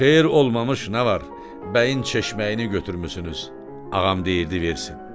Xeyir olmamış nə var, bəyin çeşməyini götürmüsünüz, ağam deyirdi versin.